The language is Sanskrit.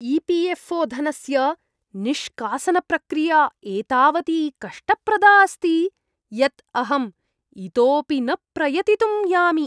ई.पी.एफ्.ओ. धनस्य निष्कासनप्रक्रिया एतावती कष्टप्रदा अस्ति यत् अहं इतोऽपि न प्रयतितुं यामि।